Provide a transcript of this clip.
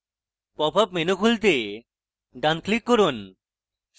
popup menu খুলতে ডান click করুন